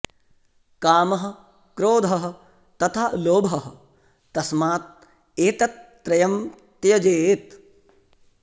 कामः क्रोधः तथा लोभः तस्मात् एतत् त्रयम् त्यजेत्